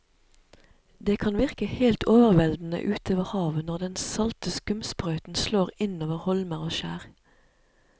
Det kan virke helt overveldende ute ved havet når den salte skumsprøyten slår innover holmer og skjær.